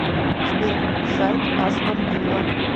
сбер сайт астон вилла